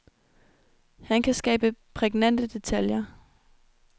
Han kan skabe prægnante detaljer.